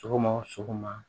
Sɔgɔma o sɔgɔma